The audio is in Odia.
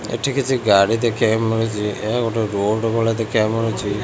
ଏଠି କିଛି ଗାଡି ଦେଖିବାକୁ ମିଳୁଚି ଏହା ଗୋଟେ ରୋଡ ଭଳିଆ ଦେଖିବାକୁ ମିଳୁଚି।